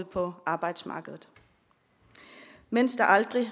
på arbejdsmarkedet mens der aldrig